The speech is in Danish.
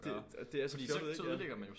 Det og det er så fjollet ikke ja